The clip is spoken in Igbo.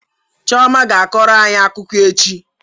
Chioma ga-akọrọ anyị akụkọ echi